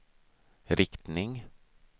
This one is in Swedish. riktning